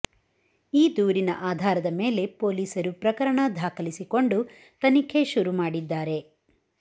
ಈ ದೂರಿನ ಆಧಾರದ ಮೇಲೆ ಪೊಲೀಸರು ಪ್ರಕರಣ ದಾಖಲಿಸಿಕೊಂಡು ತನಿಖೆ ಶುರು ಮಾಡಿದ್ದಾರೆ